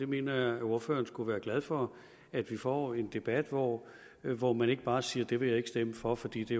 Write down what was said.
mener at ordføreren skulle være glad for at vi får en debat hvor hvor man ikke bare siger at det vil man ikke stemme for fordi det